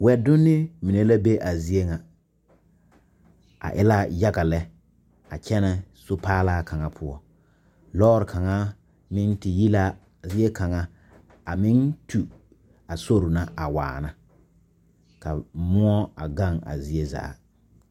Wɛdonne mine la be a zie ŋa a e la yaga lɛ a kyɛnɛ sopaalaa kaŋa poɔ lɔɔre kaŋa meŋ te yi la zie kaŋa a meŋ tu a sori na a waana ka moɔ a gaŋ a zie zaa.